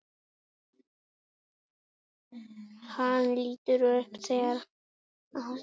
Hann lítur upp og sér að Ástrós er að horfa til hans.